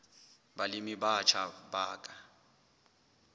balemi ba batjha ba ka